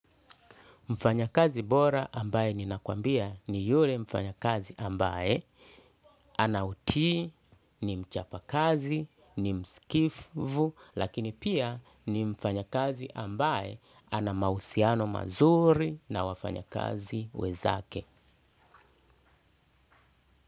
Mfanya kazi bora ambaye ninakwambia ni yule mfanya kazi ambaye anauti ni mchapa kazi ni mskifvu lakini pia ni mfanya kazi ambaye anamahusiano mazuri na wafanya kazi wenzake.